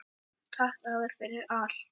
Takk afi, fyrir allt.